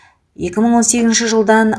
екі мың он сегізінші жылдан